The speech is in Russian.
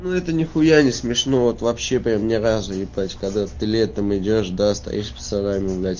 ну это нехуя не смешно вот вообще прям ни разу ебать когда ты летом идёшь да стоишь пацанами блять